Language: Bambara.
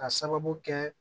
Ka sababu kɛ